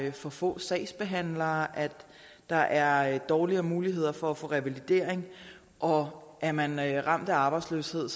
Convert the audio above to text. er for få sagsbehandlere at der er dårligere muligheder for at få revalidering og er man man ramt af arbejdsløshed